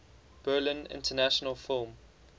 berlin international film